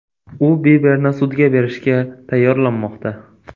U Biberni sudga berishga tayyorlanmoqda.